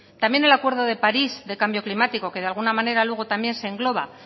también el acuerdo de parís del cambio climático que de alguna manera luego también se engloba